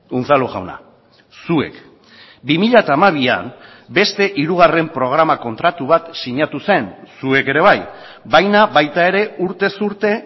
unzalu jauna zuek bi mila hamabian beste hirugarren programa kontratu bat sinatu zen zuek ere bai baina baita ere urtez urte